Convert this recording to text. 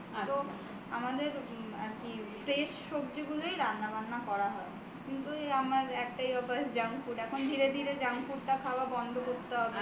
একটা খুব বাজে অভ্যাস বলতে পারো ওইটা আছে যে অল্প পরিমাণেই junk food খাব কিন্তু সব জায়গা থেকে একটু একটু করে test করব সমস্ত কিছু